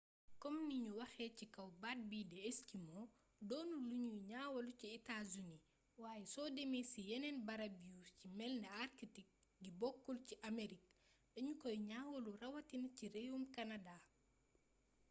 kom ni ñu waxee ci kaw baat bii di «esquimau» doonul lu ñuy ñaawlu ci états-unis waaye soo demee ci yeneen barab yu ci melni arctique gi bokkul ci amérik dañu koy ñaawlu rawatina ci réewum kanadaa